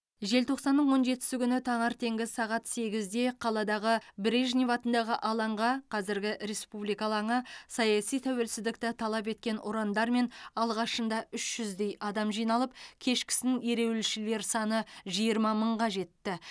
желтоқсанның он жетісі күні таңертеңгі сағат сегізде қаладағы брежнев атындағы алаңға қазіргі республика алаңы саяси тәуелсіздікті талап еткен ұрандармен алғашында үш жүздей адам жиналып кешкісін ереуілшілер саны жиырма мыңға жетті